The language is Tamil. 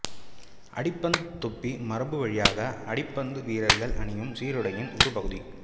அடிப்பந்துத் தொப்பி மரபுவழியாக அடிப்பந்து வீரர்கள் அணியும் சீருடையின் ஒரு பகுதி